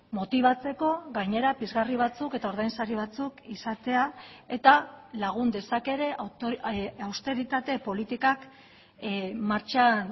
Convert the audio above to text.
motibatzeko gainera pizgarri batzuk eta ordainsari batzuk izatea eta lagun dezake ere austeritate politikak martxan